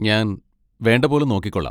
ഞാൻ വേണ്ട പോലെ നോക്കിക്കോളാം.